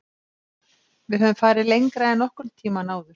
Við höfum farið lengra en nokkur tímann áður.